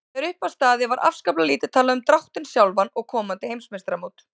Þegar upp var staðið var afskaplega lítið talað um dráttinn sjálfan og komandi heimsmeistaramót.